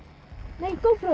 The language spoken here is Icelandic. nei gopro